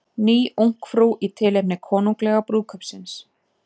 Ný Ungfrú í tilefni konunglega brúðkaupsins